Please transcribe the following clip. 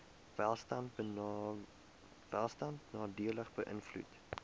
welstand nadelig beïnvloed